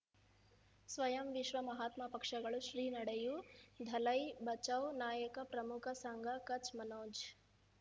ಸ್ವಯಂ ವಿಶ್ವ ಮಹಾತ್ಮ ಪಕ್ಷಗಳು ಶ್ರೀ ನಡೆಯೂ ದಲೈ ಬಚೌ ನಾಯಕ ಪ್ರಮುಖ ಸಂಘ ಕಚ್ ಮನೋಜ್